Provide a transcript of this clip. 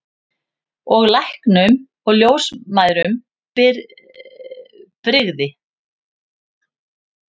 Og læknum og ljósmæðrum brygði.